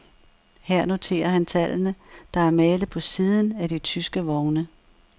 Her noterer han tallene, der er malet på siden af de tyske vogne.